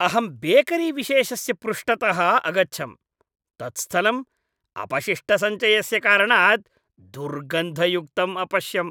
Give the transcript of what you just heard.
अहं बेकरीविशेषस्य पृष्ठतः अगच्छम्, तत् स्थलं अपशिष्टसञ्चयस्य कारणात् दुर्गन्धयुक्तं अपश्यम्।